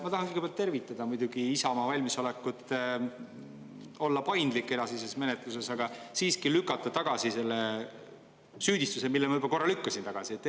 Ma tahan kõigepealt tervitada muidugi Isamaa valmisolekut olla paindlik edasises menetluses, aga siiski lükkan tagasi selle süüdistuse, mille ma juba korra tagasi lükkasin.